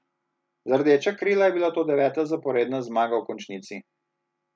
Za Rdeča krila je bila to deveta zaporedna zmaga v končnici.